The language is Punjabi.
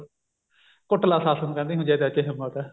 ਕੁੱਟਲਾ ਸੱਸ ਨੂੰ ਕਹਿੰਦੀ ਜੇ ਤੇਰੇ ਚ ਹਿੱਮਤ ਹੈ